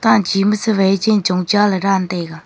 tanchi ma chu wai chen chong cha le dan taiga.